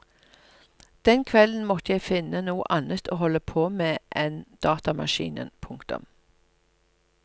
Den kvelden måtte jeg finne noe annet å holde på med enn datamaskinen. punktum